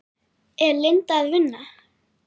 Er Linda að vinna?